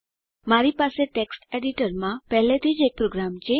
મારી પાસે ટેક્સ્ટ એડીટરમાં પહેલાથી જ એક પ્રોગ્રામ છે